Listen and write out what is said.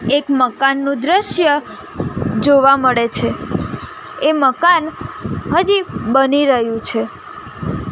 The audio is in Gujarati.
એક મકાનનું દ્રશ્ય જોવા મળે છે એ મકાન હજી બની રહ્યુ છે.